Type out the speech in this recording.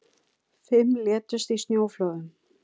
Fimm létust í snjóflóðum